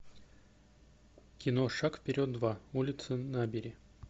кино шаг вперед два улицы набери